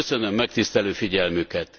Köszönöm megtisztelő figyelmüket.